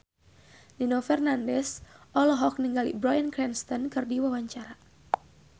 Nino Fernandez olohok ningali Bryan Cranston keur diwawancara